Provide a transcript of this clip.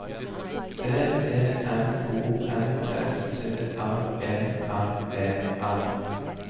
D E M O N S T R E R E R